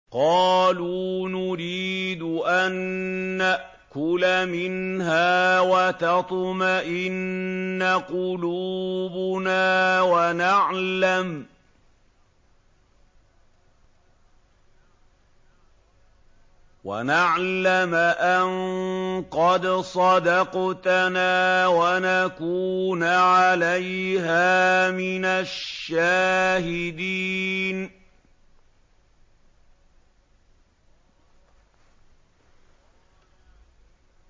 قَالُوا نُرِيدُ أَن نَّأْكُلَ مِنْهَا وَتَطْمَئِنَّ قُلُوبُنَا وَنَعْلَمَ أَن قَدْ صَدَقْتَنَا وَنَكُونَ عَلَيْهَا مِنَ الشَّاهِدِينَ